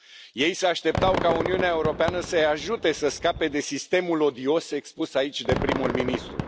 Ei se așteptau ca Uniunea Europeană să îi ajute să scape de sistemul odios expus aici de primul ministru.